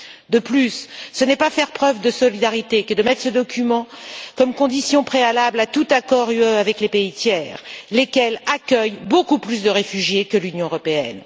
De plus, ce n'est pas faire preuve de solidarité que de faire de ce document une condition préalable à tout accord de l'Union avec les pays tiers, lesquels accueillent beaucoup plus de réfugiés que l'Union européenne.